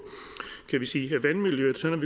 vandmiljøet sådan